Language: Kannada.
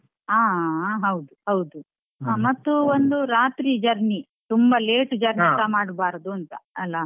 ಹ ಹಾ ಹೌದು ಹೌದು ಮತ್ತು ಒಂದು ರಾತ್ರಿ journey ತುಂಬಾ late journey ಸಾ ಮಾಡ್ಬಾರ್ದು ಅಂತ ಅಲ.